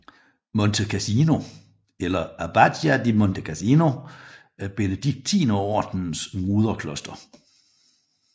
Monte Cassino eller Abbazia di Monte Cassino er Benediktinerordenens moderkloster